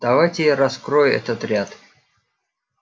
давайте я раскрою этот ряд